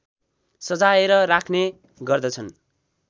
सजाएर राख्ने गर्दछन्